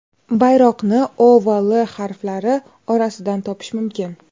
Bayroqni O va L harflari orasidan topish mumkin.